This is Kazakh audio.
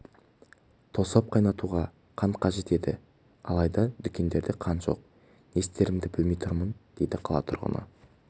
тосап қайнатуға қант қажет еді алайда дүкендерде қант жоқ не істерімді білмей тұрмын дейді қала тұрғыны